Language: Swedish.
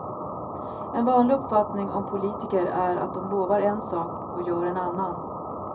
En vanlig uppfattning om politiker är att de lovar en sak och gör en annan.